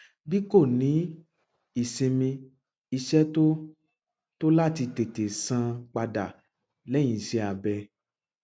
b kò ní ìsinmi iṣẹ tó tó láti tètè sàn padà lẹyìn iṣẹ abẹ